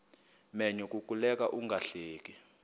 menyo kukuleka ungahleki